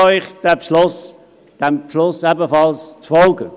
Ich bitte Sie, diesem Beschluss ebenfalls zu folgen.